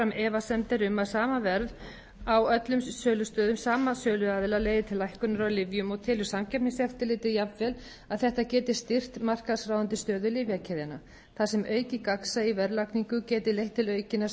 efasemdir um að sama verð á öllum sölustöðum sama söluaðila leiði til lækkunar á lyfjum og telur samkeppniseftirlitið jafnvel að þetta geti styrkt markaðsráðandi stöðu lyfjakeðjanna þar sem aukið gagnsæi í verðlagningu geti leitt til aukinnar